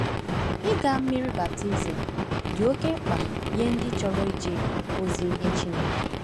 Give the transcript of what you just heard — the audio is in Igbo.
Ịga mmiri baptizim dị oké mkpa nye ndị chọrọ ije ozi nye Chineke.